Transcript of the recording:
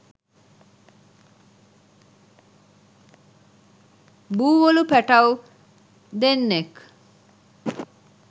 බූවලු පැටව් දෙන්නෙක්